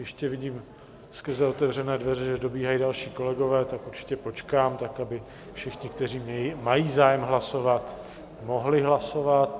Ještě vidím skrze otevřené dveře, že dobíhají další kolegové, tak určitě počkám tak, aby všichni, kteří mají zájem hlasovat, mohli hlasovat.